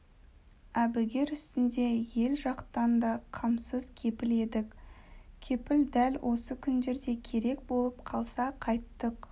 әбігер үстінде ел жақтан да қамсыз келіп едік кепіл дәл осы күндерде керек болып қалса қайттык